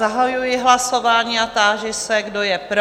Zahajuji hlasování a táži se, kdo je pro?